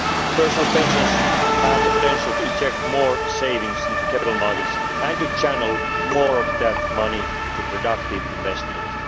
example. Personal pensions have the potential to inject more savings into capital markets and to channel more of that money to productive investments.